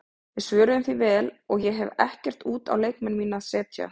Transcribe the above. Við svöruðum því vel og ég hef ekkert út á leikmenn mína að setja.